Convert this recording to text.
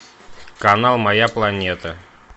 канал моя планета